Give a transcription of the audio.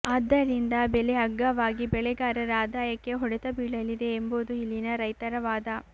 ಆದ್ದರಿಂದ ಬೆಲೆ ಅಗ್ಗವಾಗಿ ಬೆಳೆಗಾರರ ಆದಾಯಕ್ಕೆ ಹೊಡೆತ ಬೀಳಲಿದೆ ಎಂಬುದು ಇಲ್ಲಿನ ರೈತರವಾದ